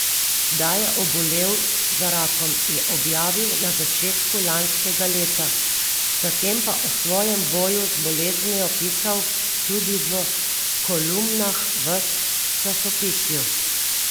Da je obolel za rakom, je objavil na začetku lanskega leta, zatem pa o svojem boju z boleznijo pisal tudi v kolumnah v časopisju.